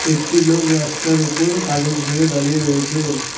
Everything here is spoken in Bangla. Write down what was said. একটি লোক রাস্তার উপর কাগজ নিয়ে দাঁড়িয়ে রয়েছে।